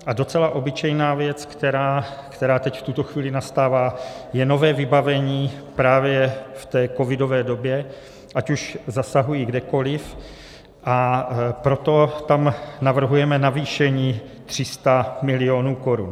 A docela obyčejná věc, která teď v tuto chvíli nastává, je nové vybavení právě v té covidové době, ať už zasahují kdekoliv, a proto tam navrhujeme navýšení 300 mil. korun.